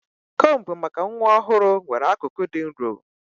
Combu maka nwa ọhụrụ nwere akụkụ dị nro.